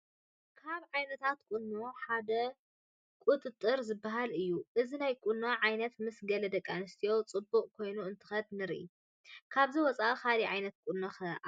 ካብ ዓይነታት ቁኖ ሓደ ቁፅርፅር ዝበሃል እዩ፡፡ እዚ ናይ ቁኖ ዓይነት ምስ ገለ ደቂ ኣንስትዮ ፅቡቕ ኮይኑ እንትኸድ ንርኢ፡፡ ካብዚ ወፃኢ ካልእ ዓይነት ቁኖ ኸ ኣሎ ዶ?